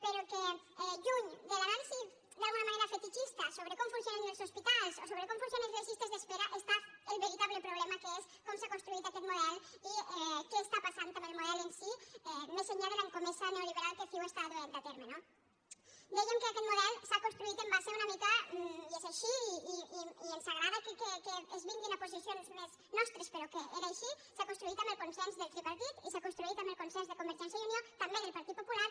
però lluny de l’anàlisi d’alguna manera fetitxista sobre com funcionen els hospitals o sobre com funcionen les llistes d’espera hi ha el veritable problema que és com s’ha construït aquest model i què passa amb el model en si més enllà de l’escomesa neoliberal que ciu du a terme no dèiem que aquest model s’ha construït una mica i és així i ens agrada que vinguin a posicions més nostres però és així amb el consens del tripartit i s’ha construït amb el consens de convergència i unió també del partit popular